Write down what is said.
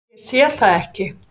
Ég sé það ekki.